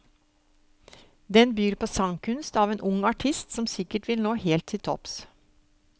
Den byr på sangkunst av en ung artist som sikkert vil nå helt til topps.